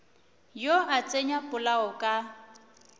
yo a tsenya polao ka